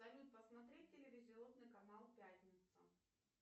салют посмотреть телевизионный канал пятница